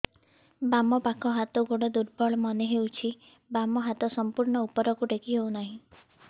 ବାମ ପାଖ ହାତ ଗୋଡ ଦୁର୍ବଳ ମନେ ହଉଛି ବାମ ହାତ ସମ୍ପୂର୍ଣ ଉପରକୁ ଟେକି ହଉ ନାହିଁ